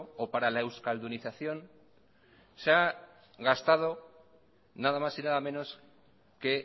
o para la euskaldunización se ha gastado nada más y nada menos que